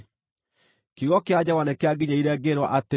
Kiugo kĩa Jehova nĩkĩanginyĩrĩire, ngĩĩrwo atĩrĩ: